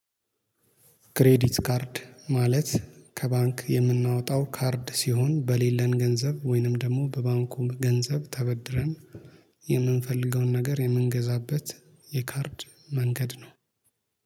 ክሬዲት ካርድ ማለት ከባንክ የምናወጣው ካርድ ሲሆን በሌለን ገንዘብ ወይንም ደግሞ በባንኩ ገንዘብ ተበድረን የምንፈልገውን ነገር የምንገዛበት የካርድ መንገድ ነው